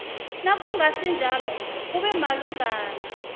nakungasinjalo kube malungana